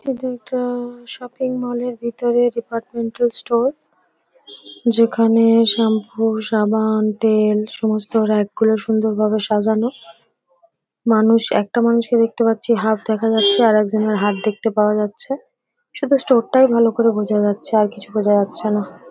এটি একটা shopping mall -এর ভিতরে ডিপার্টমেন্টাল স্টোর । যেখানে শ্যাম্পু সাবান তেল সমস্ত র‍্যাক গুলো সুন্দর ভাবে সাজানো। মানুষ একটা মানুষকে দেখতে পাচ্ছি হাত দেখা যাচ্ছে আর এক জনের হাত দেখতে পাওয়া যাচ্ছে। শুধু স্টোর টাই ভালো করে বোঝা যাচ্ছে আর কিছু বোঝা যাচ্ছে না।